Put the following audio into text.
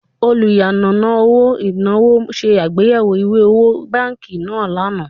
Oluyanana oro inawo se agbeyewo iwe owo banki naa lana